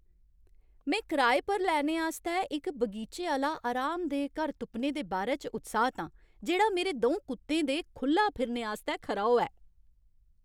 में कराए पर लैने आस्तै इक बगीचे आह्‌ला आरामदेह् घर तुप्पने दे बारै च उत्साह्त आं, जेह्ड़ा मेरे द'ऊं कुत्तें दे खु'ल्ला फिरने आस्तै खरा होऐ।